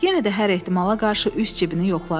Yenə də hər ehtimala qarşı üz cibini yoxladı.